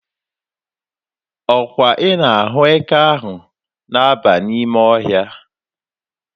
Ọkwa ị na-ahụ eke ahụ na-aba n'ime ọhịa?